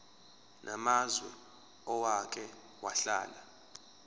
namazwe owake wahlala